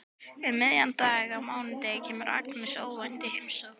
Um miðjan dag á mánudegi kemur Agnes óvænt í heimsókn.